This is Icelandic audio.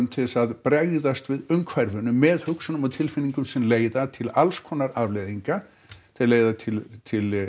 til þess að bregðast við umhverfinu með hugsunum og tilfinningum sem leiða til alls konar afleiðinga þær leiða til til